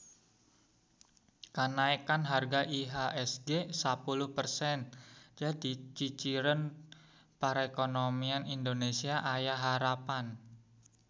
Kanaekan harga IHSG sapuluh persen jadi ciciren perekonomian Indonesia aya harepan